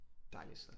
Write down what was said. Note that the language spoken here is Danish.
Dejligt sted